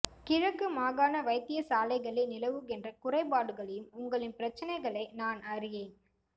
கிழக்கு மாகாண வைத்தியசாலைகளில் நிலவுகின்ற குறைபாடுகளையும் உங்களின் பிரச்சினைகளை நான் அறி